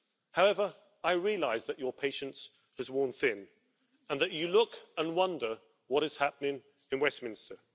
However, I realise that your patience has worn thin and that you look and wonder what is happening in Westminster.